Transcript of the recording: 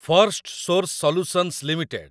Firstsource solutions limited